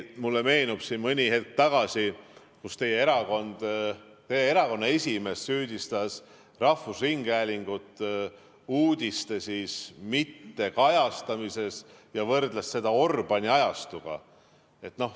Mulle meenub isegi, et teie erakonna esimees süüdistas rahvusringhäälingut uudiste mittekajastamises ja võrdles seda Orbáni ajastuga.